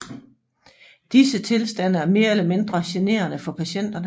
Disse tilstande er mere eller mindre generende for patienterne